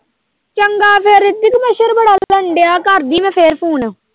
ਕਰਨ ਦਿਆਂ ਕਰਦੀ ਮੈਂ ਫੇਰ ਫੂਨ।